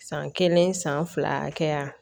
San kelen san fila kɛ yan